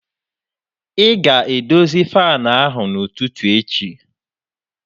Ị ga-edozi fan ahụ n'ụtụtụ echi!